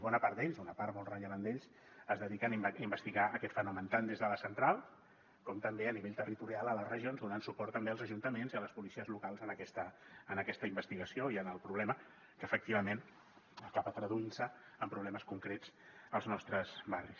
bona part d’ells una part molt rellevant d’ells es dediquen a investigar aquest fenomen tant des de la central com també a nivell territorial a les regions donant suport també als ajuntaments i a les policies locals en aquesta investigació i en el problema que efectivament acaba traduint se en problemes concrets als nostres barris